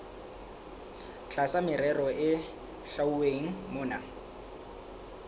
tlasa merero e hlwauweng mona